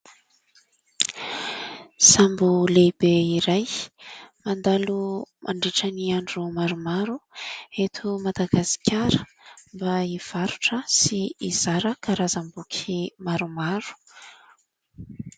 Sambo lehibe iray mandalo mandritra ny andro maromaro eto "Madagazikara" mba hivarotra sy hizara karazam-boky maromaro.